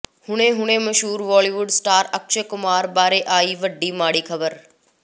ਹੁਣੇ ਹੁਣੇ ਮਸ਼ਹੂਰ ਬਾਲੀਵੁੱਡ ਸਟਾਰ ਅਕਸ਼ੈ ਕੁਮਾਰ ਬਾਰੇ ਆਈ ਵੱਡੀ ਮਾੜੀ ਖਬਰ